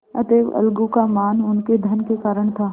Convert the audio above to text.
अतएव अलगू का मान उनके धन के कारण था